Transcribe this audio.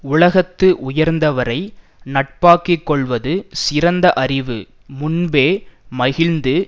உலகத்து உயர்ந்தவரை நட்பாக்கி கொள்வது சிறந்த அறிவு முன்பே மகிழ்ந்து